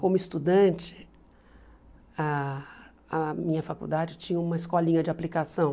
Como estudante, ah a minha faculdade tinha uma escolinha de aplicação.